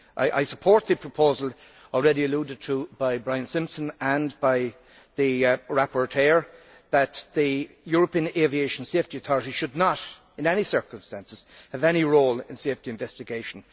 I support the proposal already alluded to by Brian Simpson and by the rapporteur that the European Aviation Safety Authority should not, in any circumstances, have any role in safety investigation.